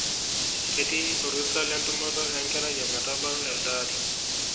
Ketii orusa lentumoto enkerai ometabau eldaari.